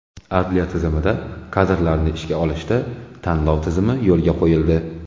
Adliya tizimida kadrlarni ishga olishda tanlov tizimi yo‘lga qo‘yildi.